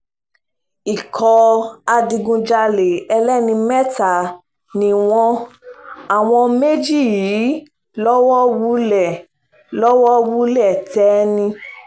ikọ̀ adigunjalè ẹlẹ́ni mẹ́ta ni wọ́n àwọn méjì yìí lọ́wọ́ wulẹ̀ lọ́wọ́ wulẹ̀ tẹ̀ ni